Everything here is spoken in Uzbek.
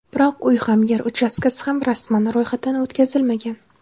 Biroq uy ham, yer uchastkasi ham rasman ro‘yxatdan o‘tkazilmagan.